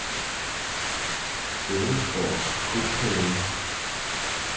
Bådesgårds Kohave